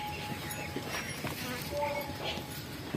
моника